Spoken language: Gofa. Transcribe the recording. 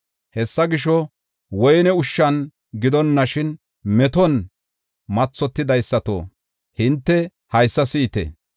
Hessa gisho, woyne ushshan gidonashin meton mathotidaysato, hinte haysa si7ite.